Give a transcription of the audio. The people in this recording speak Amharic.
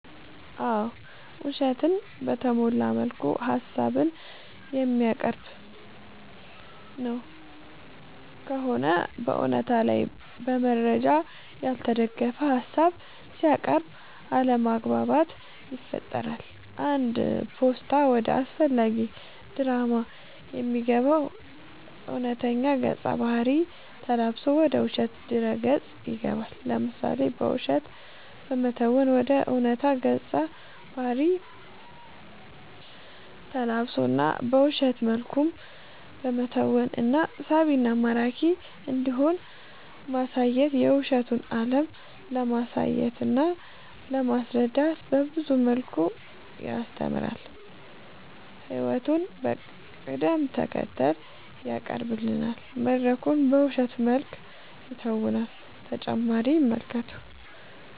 አዎ ውሸትን በተሞላ መልኩ ሀሳብን የሚያቀርብ ነው ከሆነ በእውነታ ላይ በመረጃ ያልተደገፈ ሀሳብ ሲያቅርብ አለማግባባት ይፈጥራል አንድ ፓስታ ወደ አላስፈላጊ ድራማ የሚገባው እውነተኛ ገፀ ባህርይ ተላብሶ ወደ ውሸት ድረ ገፅ ይገባል። ለምሳሌ በውሸት በመተወን ወደ ዕውነታ ገፀ ባህሪ ተላብሶ እና በውሸት መልኩም በመተወን እና ሳቢና ማራኪ እንዲሆን ማሳየት የውሸቱን አለም ለማሳየትና ለማስረዳት በብዙ መልኩ ያስተምራል ህይወቱን በቅደም ተከተል ያቀናብራል መድረኩን በውሸት መልክ ይተውናል።…ተጨማሪ ይመልከቱ